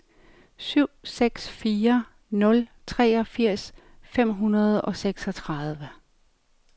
syv seks fire nul treogfirs fem hundrede og seksogtredive